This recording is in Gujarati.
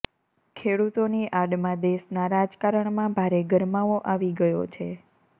ખેડૂતોની આડમાં દેશના રાજકારણમાં ભારે ગરમાવો આવી ગયો છે